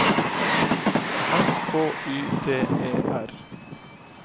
S K Y T E R